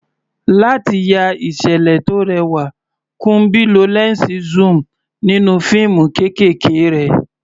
Láti ya ìṣẹ̀lẹ̀ tó rẹwà, Kunbi lo lẹ́ńsì zoom nínú fíìmù kéékèèké rẹ̀.